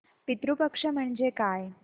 पितृ पक्ष म्हणजे काय